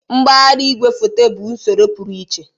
Mgbagharị igwefoto bụ usoro pụrụ iche